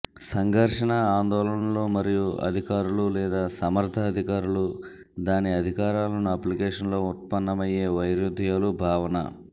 సంఘర్షణ ఆందోళనలు మరియు అధికారులు లేదా సమర్థ అధికారులు దాని అధికారాలను అప్లికేషన్ లో ఉత్పన్నమయ్యే వైరుధ్యాలు భావన